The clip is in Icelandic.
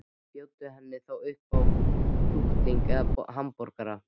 Bjóddu henni þá upp á kjúkling eða hamborgara.